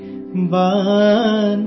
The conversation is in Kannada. ಝೋಲೇ ಮೇ ಥೀ ಪ್ಯಾರೀ ಸೀ ಕಟೋರೀ